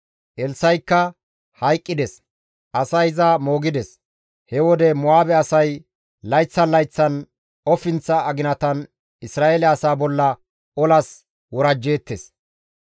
Elssa7ikka hayqqides; asay iza moogides. He wode Mo7aabe asay layththan layththan ofinththa aginatan Isra7eele asaa bolla olas worajjeettes.